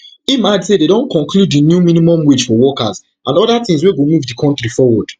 im add say dem don conclude di new minimum wage for workers and oda tins wey go move di kontri forward